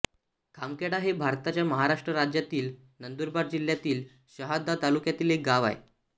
खामखेड हे भारताच्या महाराष्ट्र राज्यातील नंदुरबार जिल्ह्यातील शहादा तालुक्यातील एक गाव आहे